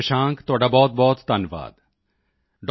ਸ਼ਸ਼ਾਂਕ ਤੁਹਾਡਾ ਬਹੁਤਬਹੁਤ ਧੰਨਵਾਦ ਡਾ